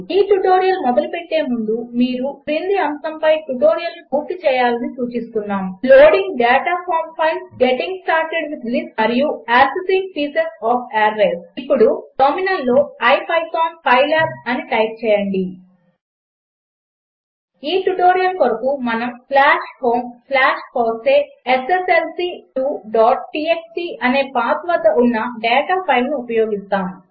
ఈ ట్యుటోరియల్ మొదలుపెట్టే ముందు మీరు క్రింది అంశము పై ట్యుటోరియల్ను పూర్తి చేయాలని సూచిస్తున్నాము loading data from files getting started with lists మరియు యాక్సెసింగ్ పీసెస్ ఒఎఫ్ అరేస్ ఇప్పుడు టర్మినల్లో ipython పైలాబ్ అని టైప్ చేయండి ఈ ట్యుటోరియల్ కొరకు మనము homefosseesslc2txt అనే పాత్ వద్ద ఉన్న డేటా ఫైల్ను ఉపయోగిస్తాము